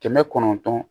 Kɛmɛ kɔnɔntɔn